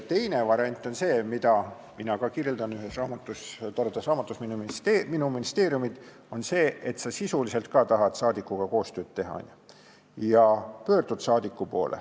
Teine variant, mida mina kirjeldan ühes toredas raamatus "Minu ministeeriumid", on see, et sa tahad ka sisuliselt saadikuga koostööd teha ja pöördud saadiku poole.